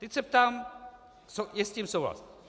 Teď se ptám - je s tím souhlas?